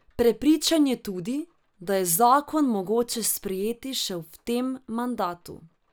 Prepričan je tudi, da je zakon mogoče sprejeti še v tem mandatu.